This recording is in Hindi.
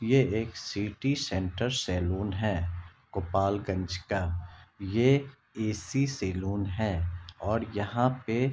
ये एक सिटी सेंटर सलून है गोपालगज का ये ए_सी सलून है और यहाँ पे--